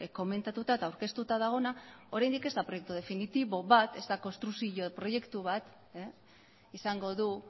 komentatuta eta aurkeztuta dagoena oraindik ez da proiektu definitibo bat ez da konstrukzio proiektu bat izango du